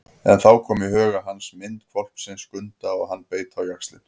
En þá kom í huga hans mynd hvolpsins Skunda og hann beit á jaxlinn.